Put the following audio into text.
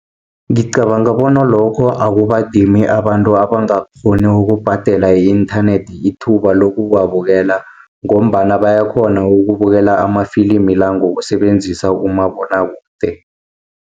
Ngicabanga bona lokho akubadimi abantu abangakghoni ukubhadela i-inthanethi ithuba lokuwabukela, ngombana bayakhona ukubukela amafilimi la ngokusebenzisa umabonwakude.